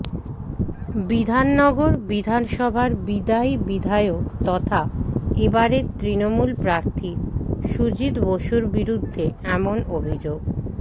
বিধাননগর বিধানসভার বিদায়ী বিধায়ক তথা এ বারের তৃণমূল প্রার্থী সুজিত বসুর বিরুদ্ধে এমন অভিযোগ